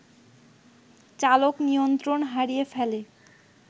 চালক নিয়ন্ত্রণ হারিয়ে ফেলে